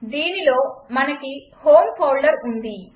దీనిలో మనకి home folder ఉంది